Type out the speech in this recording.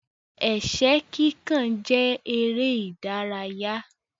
Ẹ̀ṣẹ́ kíkàn jẹ èrè ìdárayá.